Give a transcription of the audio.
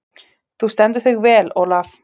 Þú stendur þig vel, Olav!